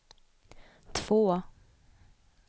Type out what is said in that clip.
två